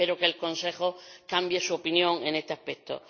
Espero que el Consejo cambie su opinión en este aspecto.